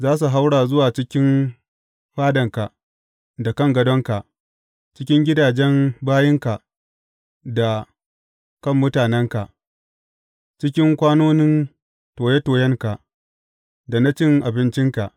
Za su haura zuwa cikin fadanka da kan gadonka, cikin gidajen bayinka da kan mutanenka, cikin kwanonin toye toyenka da na cin abincinka.